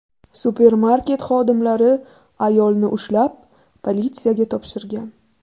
Supermarket xodimlari ayolni ushlab, politsiyaga topshirgan.